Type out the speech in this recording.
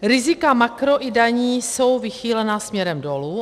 Rizika makro i daní jsou vychýlena směrem dolu.